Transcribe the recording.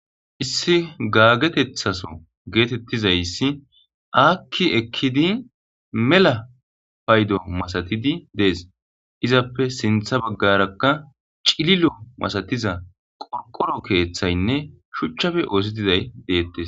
issi gaagetethaso geetettizayssi aakki ekkidi mela paydo masatidi dees izappe sintha baggarakka cililo masatiza qorqoro keeththaynne shuchchafe oosi dizay deettes